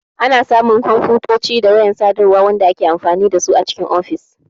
Ana samu kwamfutoci da wayan sadarwa wanda ake amfani dasu a cikin ofis.